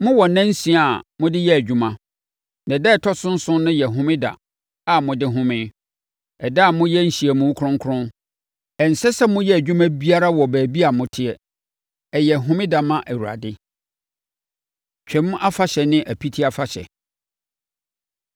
“ ‘Mowɔ nna nsia a mode yɛ adwuma, na ɛda a ɛtɔ so nson no yɛ Homeda a mode home, ɛda a moyɛ nhyiamu kronkron. Ɛnsɛ sɛ moyɛ adwuma biara wɔ baabi a moteɛ. Ɛyɛ Homeda ma Awurade. Twam Afahyɛ Ne Apiti Afahyɛ